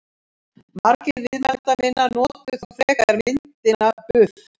Margir viðmælenda minna notuðu þó frekar myndina buff.